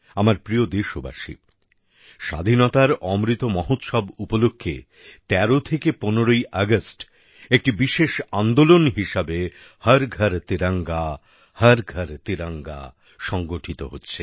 আমার প্রিয় দেশবাসী স্বাধীনতার অমৃত মহোৎসব উপলক্ষে ১৩ থেকে ১৫ আগস্ট একটি বিশেষ আন্দোলন হিসেবে হর ঘর তিরঙ্গাহর ঘর তিরঙ্গা সংগঠিত হচ্ছে